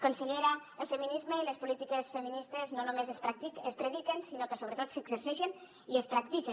consellera el feminisme i les polítiques feministes no només es prediquen sinó que sobretot s’exerceixen i es practiquen